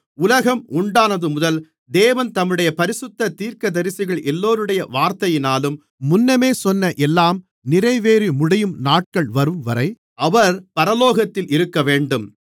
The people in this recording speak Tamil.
உலகம் உண்டானதுமுதல் தேவன் தம்முடைய பரிசுத்த தீர்க்கதரிசிகள் எல்லோருடைய வார்த்தையினாலும் முன்னமே சொன்ன எல்லாம் நிறைவேறிமுடியும் நாட்கள் வரும்வரை அவர் பரலோகத்தில் இருக்கவேண்டும்